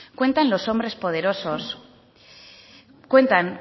cuentan